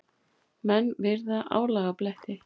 Menn virða álagabletti.